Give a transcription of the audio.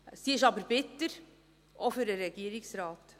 Sie ist aber bitter, auch für den Regierungsrat.